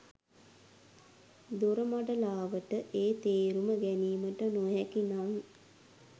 දොරමඩලාවට ඒ තේරුම ගැනීමට නොහැකි නම්